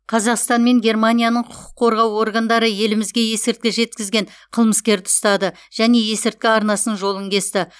қазақстан мен германияның құқық қорғау органдары елімізге есірткі жеткізген қылмыскерді ұстады және есірткі арнасының жолын кесті